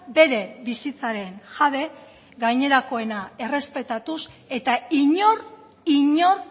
bere bizitzaren jabe gainerakoena errespetatuz eta inor inor